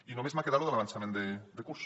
i només m’ha quedat lo de l’avançament de curs